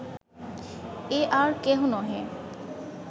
এ আর কেহ নহে